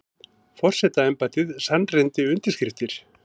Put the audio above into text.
Forsetaembættið sannreyndi undirskriftir